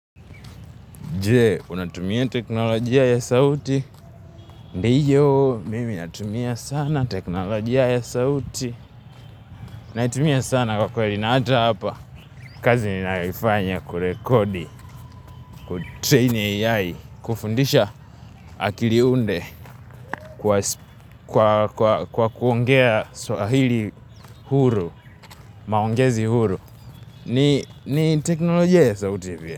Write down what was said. Je, unatumia teknolojia ya sauti? Ndiyo, mimi natumia sana teknolojia ya sauti. Naitumia sana kwa kweli na hata hapa. Kazi ni ninayoifanya kurekodi, kutraini AI, kufundisha akiliunde kwa kuongea swahili huru, maongezi huru. Ni teknolojia ya sauti.